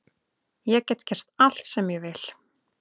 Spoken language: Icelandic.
Ég get gert allt sem ég vil